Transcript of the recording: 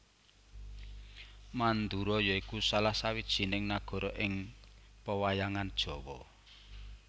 Mandura ya iku salah sawijining nagara ing pewayangan Jawa